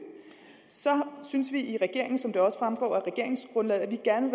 så synes vi i regeringen som det også fremgår af regeringsgrundlaget at vi gerne